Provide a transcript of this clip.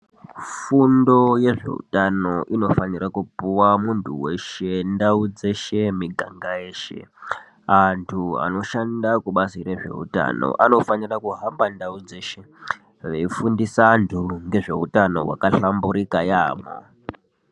Fundo yezveutano inofanira kupuwa muntu weshe, ndau dzeshe, miganga yeshe. Antu anoshande kubazi rezveutano anofanira kuhamba ndau dzeshe veifundisa antu ngezveutano hwakahlamburika yaambo.